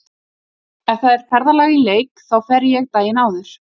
Ef það er ferðalag í leik þá fer ég daginn áður.